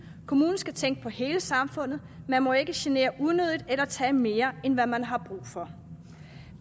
kommunen skal tænke på hele samfundet man må ikke genere unødigt eller tage mere end hvad man har brug for